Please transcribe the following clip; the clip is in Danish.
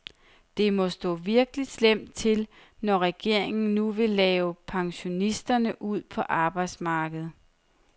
Det må stå virkelig slemt til, når regeringen nu vil have pensionisterne ud på arbejdsmarkedet.